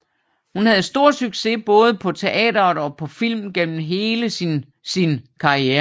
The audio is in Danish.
Hun havde stor succes både på teateret og på film gennem hele sin sin karriere